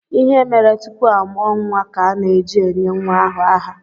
Ihe mere tupu a mụọ nwa ka ana-eji enye nwa ahụ aha.